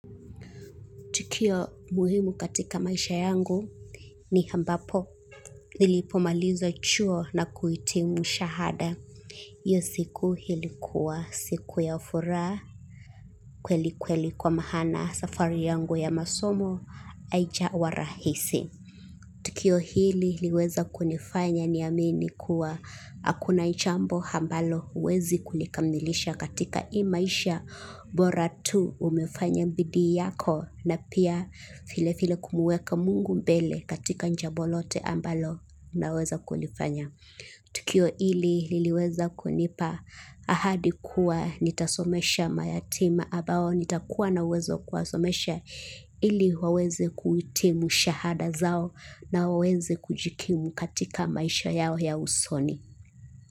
Tukio muhimu katika maisha yangu ni ambapo nilipo maliza chuo na kuitimu shahada. Hio siku ilikua siku ya furaha kweli kweli kwa maana safari yangu ya masomo haijawa rahisi. Tukio hili liweza kunifanya niamini kuwa akuna nchambo ambalo uwezi kulikamilisha katika hii maisha bora tu umefanya mbidii yako na pia file file kumuweka mungu mbele katika njabo lote ambalo unaweza kulifanya. Tukio ili liliweza kunipa ahadi kuwa nitasomesha mayatima abao nitakuwa na uwezo wa kuwasomesha ili waweze kuitimu shahada zao na waweze kujikimu katika maisha yao ya usoni.